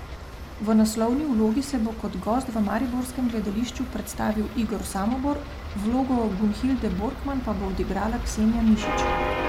V naslovni vlogi se bo kot gost v mariborskem gledališču predstavil Igor Samobor, vlogo Gunhilde Borkman pa bo odigrala Ksenija Mišič.